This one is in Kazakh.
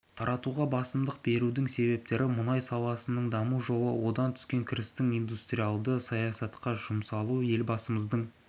тартуға басымдық берудің себептері мұнай саласының даму жолы одан түскен кірістің индустриалдя саясатқа жұмсалуы елбасымыздың